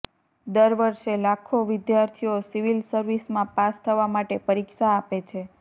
દરવર્ષે લાખો વિદ્યાર્થીઓ સિવિલ સર્વિસમાં પાસ થવા માટે પરીક્ષા આપે છે